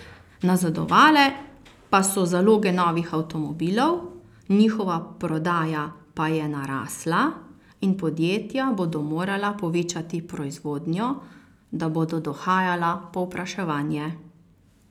Nazadovale pa so zaloge novih avtomobilov, njihova prodaja pa je narasla in podjetja bodo morala povečati proizvodnjo, da bodo dohajala povpraševanje.